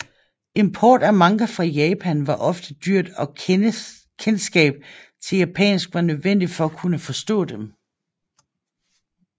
Import af manga fra Japan var ofte dyrt og kendskab til japansk var nødvendigt for at kunne forstå dem